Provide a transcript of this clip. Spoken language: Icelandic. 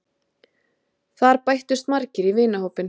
Þar bættust margir í vinahópinn.